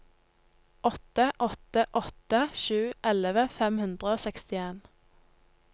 åtte åtte åtte sju elleve fem hundre og sekstien